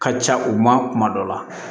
Ka ca u ma kuma dɔ la